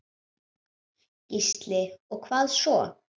Gísli: Og hvað svo?